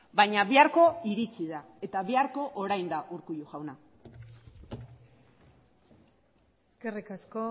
baina biharko iritsi da eta biharko orain da urkullu jauna eskerrik asko